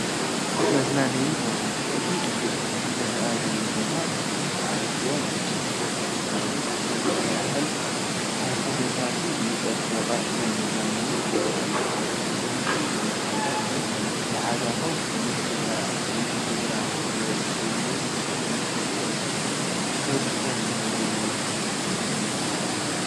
መዝናነዬ ቦታ፡- እቲ ዝረአ ዘሎ ቦታ ብኣዝዮም ፅቡቓት ተፈጥሮኣውን ሰብ ስራሕን ተኽልታት ዝፀበቐ ናይ መዝናነዬ ቦታ እዩ፡፡ ናብ ከምዚ ዝበለ ቦታ ምስ ማሓዛኹም፣ ምስ ስድራኹም፣ ወይ ውን ምስ እትፈትውዎ ሰብ ከይድኩም ምዝንናይ ትፈትው?